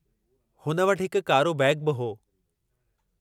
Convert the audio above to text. हुन वटि हिकु कारो बैगु बि हो।